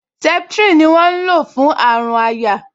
Septrin ni wọ́n ń lò fún àrùn àyà